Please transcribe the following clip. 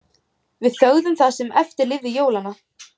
Við þögðum það sem eftir lifði jólanna.